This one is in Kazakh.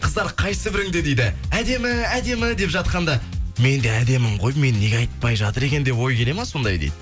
қыздар қайсы біріңде дейді әдемі әдемі деп жатқанда мен де әдемімін ғой мені неге айтпай жатыр екен деп ой келе ма сондай дейді